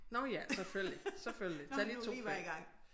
Nåh ja selvfølgelig selvfølgelig tag lige 2 fag